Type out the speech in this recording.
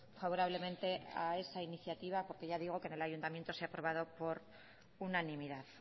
favorablemente a esa iniciativa porque ya digo que en el ayuntamiento se ha aprobado por unanimidad